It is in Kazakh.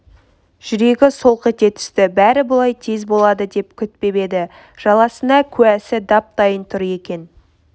жүрегі солқ ете түсті бәрі бұлай тез болады деп күтпеп еді жаласына куәсі дап-дайын тұр екен